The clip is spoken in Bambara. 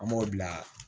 An b'o bila